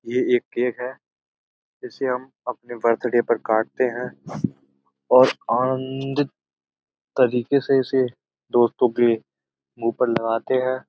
ये एक केक है। इसे हम अपने बर्थडे पर काटते हैं। आनंन्न्न्दित तरीके से इसे दोस्तों के मुँह पर लगाते हैं।